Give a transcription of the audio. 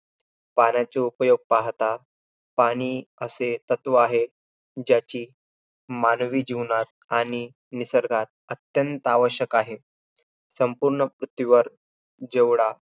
पाण्याचे उपयोग पाहता पाणी असे तत्व आहे, ज्याची मानवी जीवनात आणि निसर्गात अत्यंत आवश्यकता आहे. संपूर्ण पृथ्वीवर जेवढा